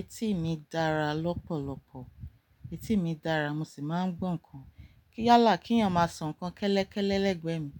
Ẹ̀tì mi dára lọ́pọ̀lọpọ̀, ẹ̀tì mi dára mo sì máa ń gbọ́n nǹkan. Kí yálà kí èèyàn máa sọ nǹkan kẹ́lékélé lẹ́gbẹ̀ẹ́ mi,